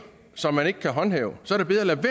som man ikke kan håndhæve så